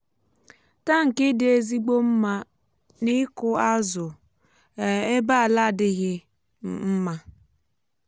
tankị dị ezigbo mma n'ịkụ azụ um ebe ala adịghị um mma